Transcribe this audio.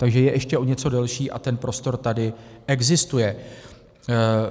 Takže je ještě o něco delší a ten prostor tady existuje.